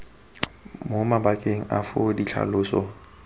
mo mabakeng a foo ditlhaloso